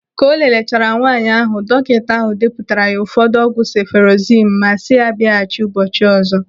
Ka o lelechara nwaanyị ahụ, dọkịta ahụ depụtara ya ụfọdụ ọgwụ sefụrozimu ma si ya biaghachi ụbọchị ọzọ.